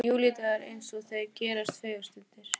Júlídagur eins og þeir gerast fegurstir.